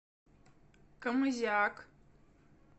камызяк